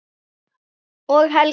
Og Helga!